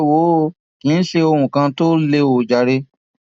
ẹ wò ó kí ṣe ohun kan tó lé ọ jàre